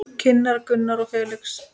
Kynnar Gunnar og Felix.